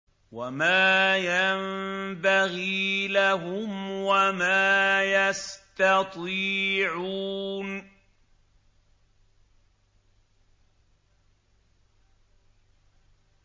وَمَا يَنبَغِي لَهُمْ وَمَا يَسْتَطِيعُونَ